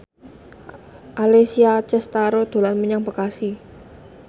Alessia Cestaro dolan menyang Bekasi